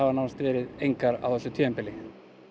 nánast engar á þessu tímabili